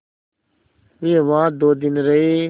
वे वहाँ दो दिन रहे